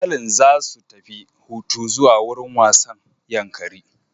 Iyalin za su tafi hutu zuwa wurin wasan Yankari